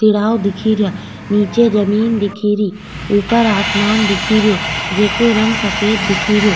तिराव दिखे रिया निचे जमीं दिखे री ऊपर आसमान दिखे रियो जेको रंग सफेद दिखे रियो।